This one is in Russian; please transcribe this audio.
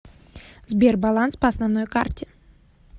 сбер баланс по основной карте